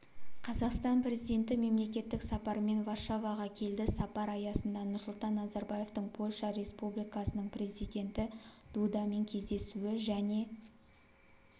қазақстан президенті мемлекеттік сапармен варшаваға келді сапар аясында нұрсұлтан назарбаевтың польша республикасының президенті дудамен кездесуі және